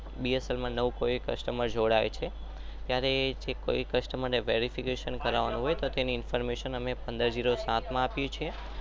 નવો કોઈ કસ્ટમર જોડાય છે. પંદર ઝેરો સાત માં આપીએ ચુયે.